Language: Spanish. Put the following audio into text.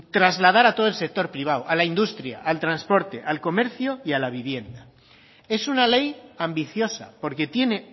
trasladar a todo el sector privado a la industria al transporte al comercio y a la vivienda es una ley ambiciosa porque tiene